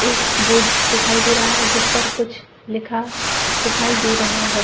एक बोर्ड दिखाई दे रहा है जिस पर कुछ लिखा दिखाई दे रहा है।